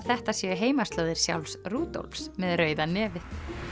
þetta séu heimaslóðir sjálfs með rauða nefið